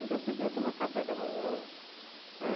Onde já se viu tomar café da manhã, né?